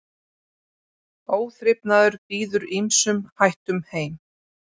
Óþrifnaður býður ýmsum hættum heim.